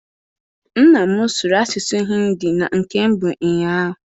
Nna m sụrụ asụsụ Hindi na nke mbụ ụnyaahụ.